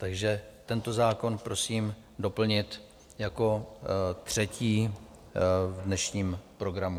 Takže tento zákon prosím doplnit jako třetí v dnešním programu.